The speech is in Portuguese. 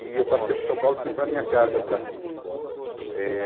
E eu passei por São Paulo e fui para a minha casa, para Assis. Eh